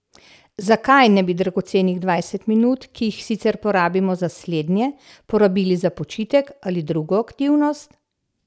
Zakaj ne bi dragocenih dvajset minut, ki jih sicer porabimo za slednje, porabili za počitek ali drugo aktivnost?